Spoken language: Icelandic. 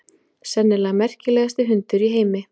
Sennilega merkilegasti hundur í heimi.